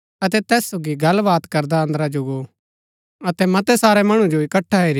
अतै तैस सोगी गल्लवात करदा अंदरा जो गो अतै मतै सारै मणु जो इकट्ठै हेरी करी